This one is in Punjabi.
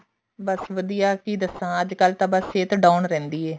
ਬੱਸ ਵਧੀਆ ਕਿ ਦੱਸਾਂ ਅੱਜਕਲ ਤਾਂ ਸਹਿਤ down ਰਹਿੰਦੀ ਹੈ